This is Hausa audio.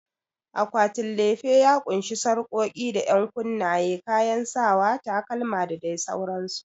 Akwatin lefe ya ƙunshi sarƙoƙi da ƴankunnaye, kayan sawa, takalma da dai sauransu.